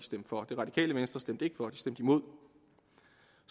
for det radikale venstre stemte ikke for de stemte imod